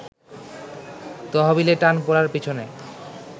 তহবিলে টান পড়ার পিছনে